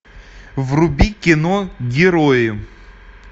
вруби кино герои